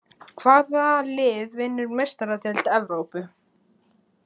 Hvað lið vinnur Meistaradeild Evrópu?